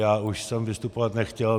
Já už jsem vystupovat nechtěl.